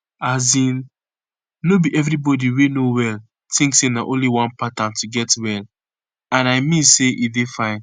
as in no be everybody wey no well tink say na only one pattern to get well and i mean say e dey fine